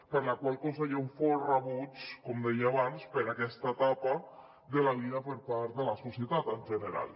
per la qual cosa hi ha un fort rebuig com deia abans per aquesta etapa de la vida per part de la societat en general